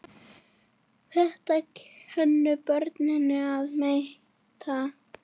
Þetta kunnu börnin að meta.